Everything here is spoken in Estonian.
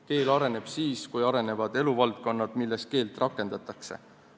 Keel areneb siis, kui arenevad eluvaldkonnad, milles keelt rakendatakse.